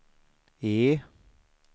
E